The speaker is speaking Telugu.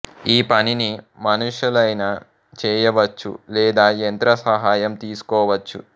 ఈ పనిని మనుషలైనా చేయవచ్చు లేదా యంత్ర సహాయం తీసుకోవచ్చు